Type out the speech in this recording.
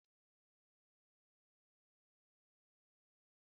John kwuru na ya ga-abịa n'abalị a